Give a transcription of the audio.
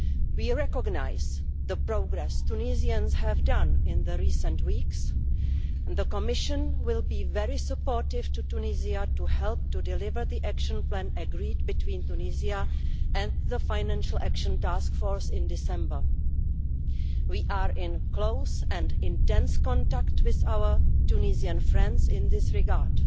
We recognise the progress Tunisians have made in recent weeks and the Commission will be very supportive of Tunisia to help to deliver the action plan agreed between Tunisia and the Financial Action Task Force in December. We are in close and intense contact with our Tunisian friends in this regard.